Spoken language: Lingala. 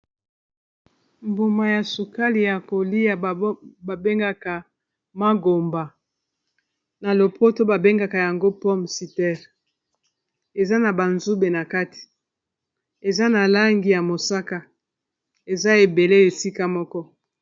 mbuma ya sukali ya kolia babengaka mangomba na lopoto babengaka yango pome citere eza na banzube na kati eza na langi ya mosaka eza ebele esika moko